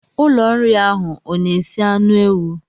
Ụlọ nri ahụ ọ na-esi anụ ewu?